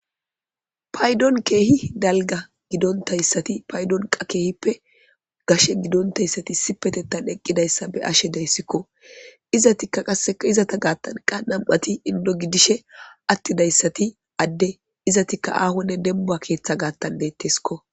paydon keehi dalga gidontayssati paydonqa keehippe gashe gidontayssati sipetettan eqqidayssa be ashe deyssikko izatikka qasseka izata gaattanqa nam7ati indo gidishe attidayssati adde izatikka aahonne dembua keeththa gaattan deetteskko